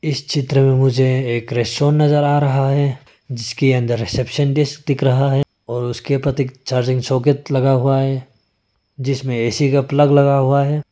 इस चित्र में मुझे एक रेस्टोरेंट नजर आ रहा है जिसके अंदर रिसेप्शनडिस दिख रहा है और उसके चार्जिंग सॉकेट लगा हुआ है जिसमें ए_सी का प्लग लगा हुआ है।